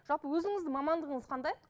жалпы өзіңіздің мамандығыңыз қандай